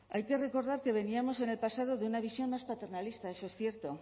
hay que recordar que veníamos en el pasado de una visión más paternalista eso es cierto